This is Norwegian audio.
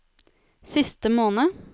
siste måned